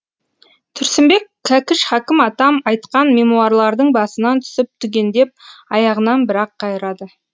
тұрсынбек кәкіш хакім атам айтқан мемуарлардың басынан түсіп түгендеп аяғынан бірақ қайырады